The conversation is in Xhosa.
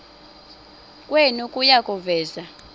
kwenu kuya kuveza